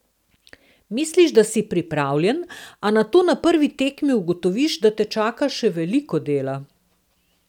Misliš, da si pripravljen, a nato na prvi tekmi ugotoviš, da te čaka še veliko dela.